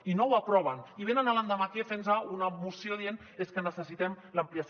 i no ho aproven i venen l’endemà aquí fent nos una moció dient és que necessitem l’ampliació